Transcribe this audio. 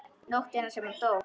Nóttina sem hann dó?